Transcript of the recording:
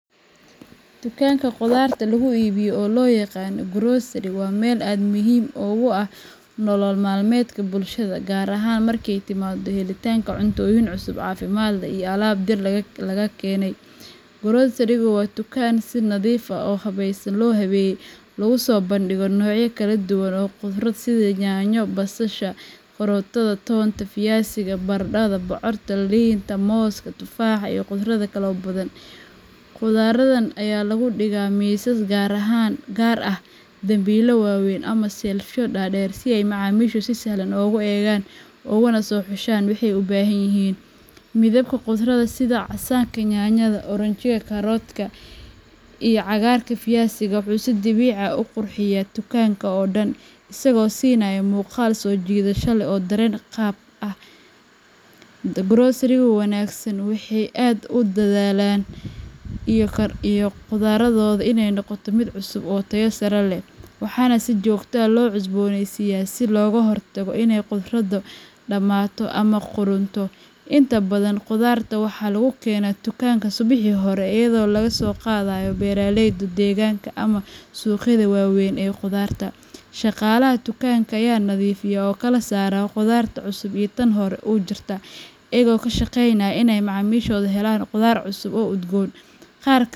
Dukaanada khudarta lagu iibiyo, oo loo yaqaan grocery, waa meel aad muhiim ugu ah nolol maalmeedka bulshada, gaar ahaan marka ay timaado helitaanka cuntooyin cusub, caafimaad leh, iyo alaab dhir laga keenay. Grocerygu waa dukaan si nadiif ah oo habaysan loo habeeyey, laguna soo bandhigo noocyo kala duwan oo khudrad ah sida yaanyo, basasha, karootada, toonta, fiyasiga, barandhada, bocorka, liinta, mooska, tufaaxa, iyo khudrado kale oo badan. Khudraddan ayaa lagu dhigaa miisas gaar ah, dambiilo waaweyn, ama shelfyo dhaadheer si ay macaamiishu si sahal ah ugu eegaan ugana soo xushaan waxay u baahan yihiin. Midabka khudradda, sida casaanka yaanyada, oranji karootada, iyo cagaarka fiyasiga, wuxuu si dabiici ah u qurxiyaa dukaanka oo dhan, isagoo siinaya muuqaal soo jiidasho leh oo dareen caafimaad qab ah. Groceryyada wanaagsan waxay aad u dadaalaan in khudraddooda ay noqoto mid cusub oo tayo sare leh, waxaana si joogto ah loo cusbooneysiiyaa si looga hortago inay khudradu dhammaato ama qudhunto. Inta badan khudradda waxaa lagu keenaa dukaanka subaxii hore iyadoo laga soo qaaday beeraley deegaanka ama suuqyada waaweyn ee khudradda. Shaqaalaha dukaanka ayaa nadiifiya oo kala saara khudradda cusub iyo tan hore u jirta, iyagoo ka shaqeynaya inay macaamiishu helaan khudaar cusub oo udgoon.